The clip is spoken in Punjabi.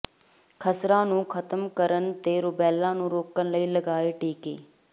ਖਸਰਾ ਨੂੰ ਖ਼ਤਮ ਕਰਨ ਤੇ ਰੁਬੈਲਾ ਨੂੰ ਰੋਕਣ ਲਈ ਲਗਾਏ ਟੀਕੇ